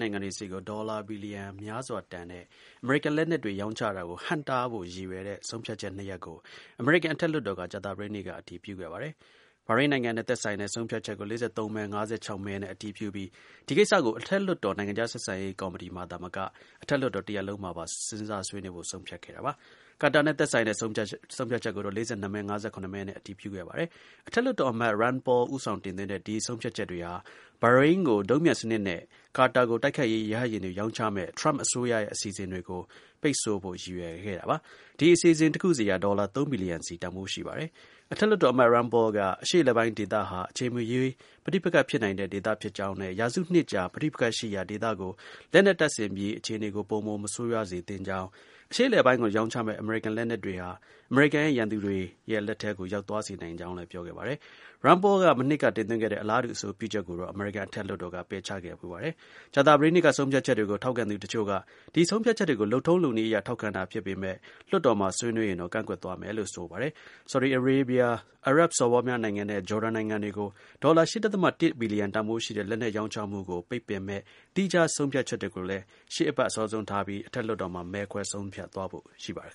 နိုင်ငံတွေဆီကို ဒေါ်လာ ဘီလီယံများစွာ တန်ဖိုးရှိတဲ့ အမေရိကန် လက်နက်တွေ ရောင်းချတာကို ဟန့်တားဖို့ ရည်ရွယ်တဲ့ ဆုံးဖြတ်ချက်နှစ်ရပ်ကို အမေရိကန် အထက်လွှတ်တော်က ကြာသပတေးနေ့က အတည်ပြုခဲ့ပါတယ်။ ဘာရိမ်းနိုင်ငံနဲ့ သက်ဆိုင်တဲ့ ဆုံးဖြတ်ချက်ကို ၄၃မဲ - ၅၆ မဲနဲ့ အတည်ပြုပြီး ဒီ ကိစ္စကို အထက်လွှတ်တော် နိုင်ငံခြား ဆက်ဆံရေးကော်မတီအပြင် အထက်လွှတ်တော် တစ်ရပ်လုံးမှာ စဉ်းစားဆွေးနွေးဖို့ ဆုံးဖြတ်ခဲ့တာပါ။ ကာတာနဲ့ သက်ဆိုင်တဲ့ ဆုံးဖြတ်ချက်ကိုတော့ ၄၂မဲ-၅၇မဲနဲ့ အတည်ပြုခဲ့ပါတယ်။ အထက်လွှတ်တော်အမတ် Rand Paul ဦးဆောင်တင်သွင်းတဲ့ ဆုံးဖြတ်ချက်တွေဟာ ဘာရိမ်းကို ဒုံးပျံစနစ်နဲ့ ကာတာကို တိုက်ခိုက်ရေး ရဟတ်ယာဉ်တွေ ရောင်းချမယ့် ထရမ့် အစိုးရရဲ့ အစီအစဉ်တွေကို ပိတ်ဆို့ဖို့ ရည်ရွယ်ပါတယ်။ ဒီ အစီအစဉ် တစ်ခုစီက ဒေါ်လာ ၃ ဘီလီယံ စီ တန်ဖိုး ရှိပါတယ်။ အထက်လွှတ်တော်အမတ် Rand Paul က အရှေ့အလယ်ပိုင်းဒေသဟာ အချိန်မရွေး ပဋိပက္ခဖြစ်နိုင်တဲ့ ဒေသဖြစ်ကြောင်းနဲ့ ရာစုနှစ်ကြာ ပဋိပက္ခရှိရာ ဒေသကို လက်နက်တပ်ဆင်ပြီး အခြေအနေကို ပိုမို မဆိုးရွားစေသင့်ကြောင်း၊ အရှေ့အလယ်ပိုင်းကို ရောင်းချးမယ့် အမေရိကန်လက်နက်တွေ ဟာ အမေရိကန်ရဲ့ ရန်သူတွေရဲ့ လက်ထဲကို ရောက်သွားစေနိုင်ကြောင်း ပြောခဲ့ပါတယ်။ Rand Paul က မနှစ်က တင်သွင်းခဲ့တဲ့ အလားတူ အဆိုပြုချက်ကိုတော့ အမေရိကန် အထက်လွှတ်တော်က ပယ်ချခဲ့ဖူးပါတယ်။ ကြာသပတေးနေ့က ဆုံးဖြတ်ချက်တွေကို ထောက်ခံသူတစ်ချို့က ဒီ ဆုံးဖြတ်ချက်တွေကို လုပ်ထုံးလုပ်နည်းအရ ထောက်ခံတာ ဖြစ်ပေမဲ့ လွှတ်တော်မှာ ဆွေးနွေးရင်တော့ ကန့်ကွက်သွားမယ်လို့ ဆိုပါတယ်။ ဆော်ဒီအာရေးဗျ၊ အာရပ်စော်ဘွားများနိုင်ငံနဲ့ ဂျော်ဒန်နိုင်ငံတွေကို လက်နက်ရောင်းချမှာကို ပိတ်ပင်မယ့် သီးခြား ဆုံးဖြတ်ချက်တွေကိုလည်း ရှေ့အပတ် အစောဆုံးထားပြီး အထက်လွှတ်တော် မဲခွဲ ဆုံးဖြတ်သွားဖို့ ရှိပါတယ်